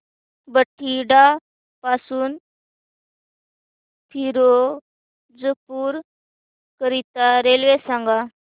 बठिंडा पासून फिरोजपुर करीता रेल्वे सांगा